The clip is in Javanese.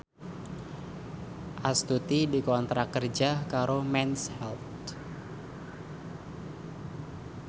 Astuti dikontrak kerja karo Mens Health